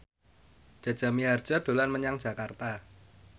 Jaja Mihardja dolan menyang Jakarta